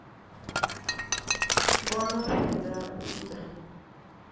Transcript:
vho no fhedza u ita